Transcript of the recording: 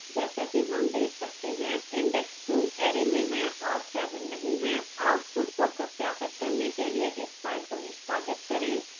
जैसा कि हम देख सकते हैं index two array में है और seven नहीं है